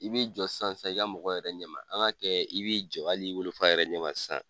I bɛ jɔ san san i ka mɔgɔ yɛrɛ ɲɛma an ka kɛ i b'i jɔ hali i wolo fa yɛrɛ ɲɛma sisan.